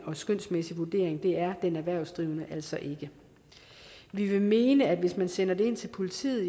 og skønsmæssig vurdering det er den erhvervsdrivende altså ikke vi vil mene at hvis man sender det ind til politiet